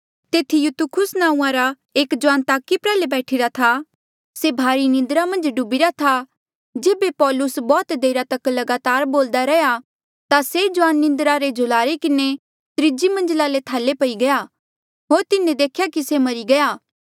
तेथी युतुखुस नांऊँआं रा एक जुआन ताकी प्रयाल्हे बैठीरा था से भारी निन्द्रा मन्झ डुबिरा था जेबे पौलुस बौह्त देरा तक लगातार बोल्दा रैंहयां ता से जुआन निन्द्रा रे झुलारे किन्हें त्रीजी मंजला ले थाले पई गया होर तिन्हें देख्या की से मरी गया